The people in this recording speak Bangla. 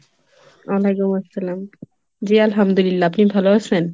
ওয়ালাইকুম আসসালাম জি আলহামদুলিল্লাহ! আপনি ভালো আছেন?